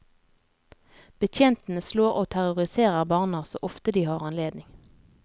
Betjentene slår og terroriserer barna så ofte de har anledning.